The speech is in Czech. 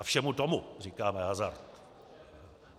A všemu tomu říkáme hazard.